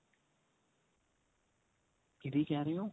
ਕਿਹਦੀ ਕਿਹ ਰਹੇ ਓ